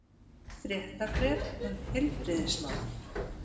Fréttabréf um heilbrigðismál.